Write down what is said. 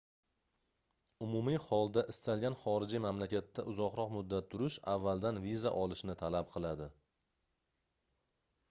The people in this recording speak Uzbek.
umumiy holda istalgan xorijiy mamlakatda uzoqroq muddat turish avvaldan viza olishni talab qiladi